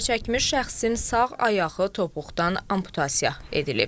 Zərərçəkmiş şəxsin sağ ayağı topuqdan amputasiya edilib.